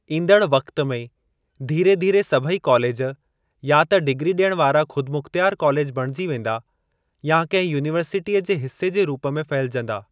ईंदड़ वक़्त में धीरे धीरे सभेई कॉलेज या त डिग्री ॾियण वारा खुदिमुख्तयार कॉलेज बणिजी वेंदा या कंहिं यूनीवर्सिटीअ जे हिसे जे रूप में फहिलजंदा।